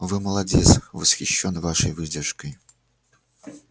вы молодец восхищён вашей выдержкой